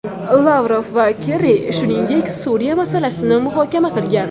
Lavrov va Kerri, shuningdek, Suriya masalasini muhokama qilgan.